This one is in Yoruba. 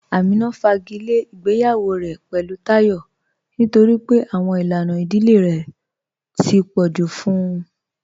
Amínà fàgílẹ̀ ìgbèyawọ̀ rẹ̀ pẹ̀lú Táyọ̀ nítorí pé àwọn ilànà ìdílẹ̀ rẹ̀ tó pọ̀ ju fún ụ